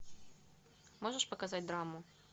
можешь показать драму